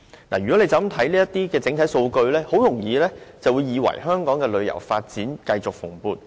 如果只看整體數據，很容易會以為香港的旅遊業繼續發展蓬勃。